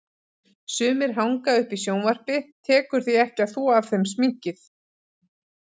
Sumir hanga uppi í sjónvarpi, tekur því ekki að þvo af þeim sminkið.